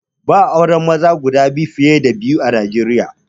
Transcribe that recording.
Ba'a auren maza fiye da guda biyu a Nijeriya